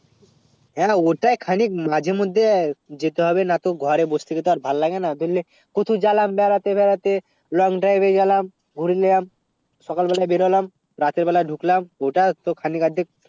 হেঁ অতটা খালি মাজে মদদে যেতে হবে না তো ঘরে বসে থেকে আর ভাল লাগে না কথা জালাম বেড়াতে বেড়াতে long drive এ গেলাম ঘুরে নিলাম সকাল বেলা বের হলাম রাতে বেলা ঢুকলাম অতটা তো খানি গাড়ির